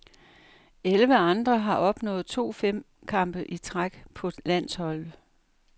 Elleve andre har opnået to fem kampe i træk på landsholdet.